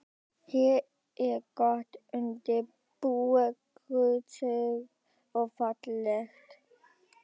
Hér er gott undir bú, grösugt og fallegt.